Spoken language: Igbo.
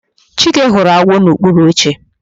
Chike hụrụ agwọ n'okpuru oche